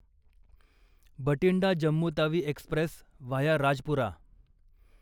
Bathinda Jammu Tawi express via Rajpura